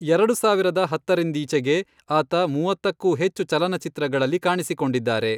ಎರಡು ಸಾವಿರದ ಹತ್ತರಿಂದೀಚೆಗೆ ಆತ ಮೂವತ್ತಕ್ಕೂ ಹೆಚ್ಚು ಚಲನಚಿತ್ರಗಳಲ್ಲಿ ಕಾಣಿಸಿಕೊಂಡಿದ್ದಾರೆ.